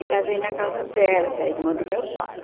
E casei na casa dela, que é a irmã do meu pai.